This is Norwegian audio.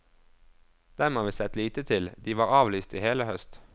Dem har vi sett lite til, de var avlyst i hele høst.